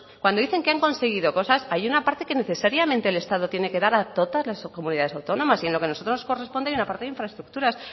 cuando dicen que han conseguido cosas hay una parte que necesariamente el estado tiene que dar a todas las comunidades autónomas y en lo que nosotros nos corresponde hay una parte de infraestructuras